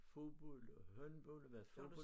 Fodbold og håndbold og været fodbold